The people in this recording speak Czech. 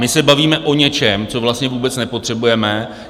My se bavíme o něčem, co vlastně vůbec nepotřebujeme.